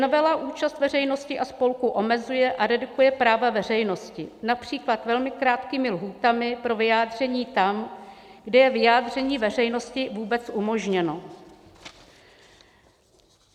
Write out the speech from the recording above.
Novela účast veřejnosti a spolků omezuje a redukuje práva veřejnosti, například velmi krátkými lhůtami pro vyjádření tam, kde je vyjádření veřejnosti vůbec umožněno.